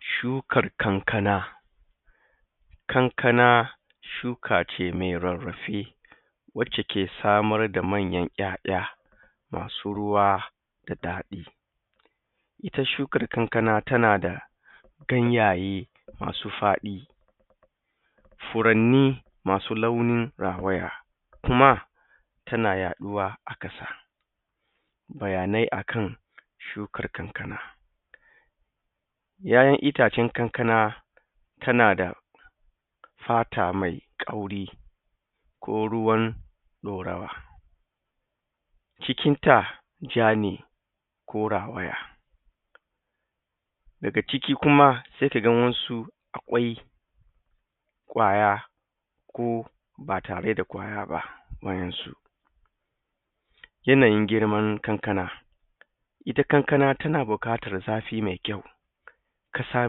Shukan kankana. Kankana shuka ce mai rarrafe wacce ke samar da manyan ‘ya'ya masu ruwa da daɗi. Ita shukan kankana tana da ganyaye masu faɗi, furanni masu launin rawaya, kuma tana yaɗuwa a ƙasa. Bayanai a kan shukan kankana. ‘Ya'yan itacen kankana tana da fata mai kauri, ko ruwan ɗaurawa, cikin ta ja ne ko rawaya, daga ciki kuma sai ka ga wasu akwai ƙwaya ko ba tare da ƙwaya ba bayan su. Yanayin girman kankana. Ita kankana tana buƙatar zafi mai kyau, ƙasa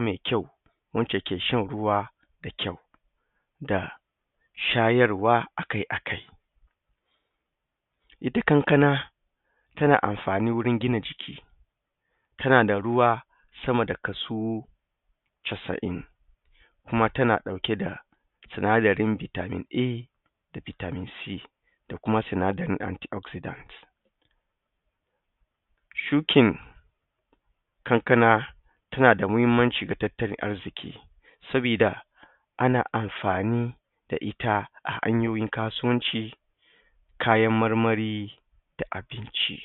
mai kyau, wacce ke shan ruwa da kyau da shayarwa a kai a kai. Ita kankana tana amfani wurin gina jiki, tana da ruwa sama da kaso casa'in, kuma tana ɗauke da sinadarin vitamin a, da vitamin c da kuma sinadarin anti oxidant. Shukin kankana tana da muhimmanci ga tattalin arziki sabida ana amfani da ita a hanyoyin kasuwanci, kayan marmari, da abinci.